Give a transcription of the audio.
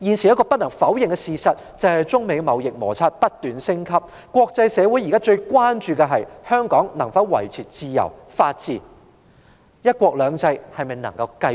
一個不能否認的事實是，中美貿易摩擦不斷升級，國際社會現時最關注的是，香港能否維持自由法治，"一國兩制"能否持續。